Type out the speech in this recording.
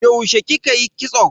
Yaushe kika yi kitso?